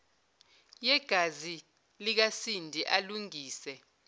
yegazi likasindi alungise